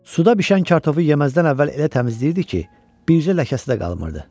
Suda bişən kartofu yeməzdən əvvəl elə təmizləyirdi ki, bircə ləkəsi də qalmırdı.